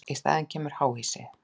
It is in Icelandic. Í staðinn kemur háhýsi.